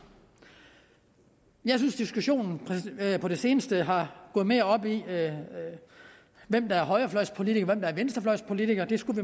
jeg synes diskussionen på det seneste er gået mere op i hvem der er højrefløjspolitiker og hvem der er venstrefløjspolitiker og det skulle